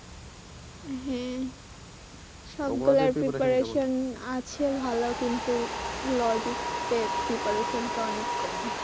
হ্যাঁ সব গুলার preparation আছে ভালো কিন্তু logics এ preparation টা অনেক কম